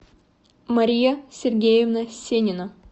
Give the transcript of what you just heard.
мария сергеевна сенина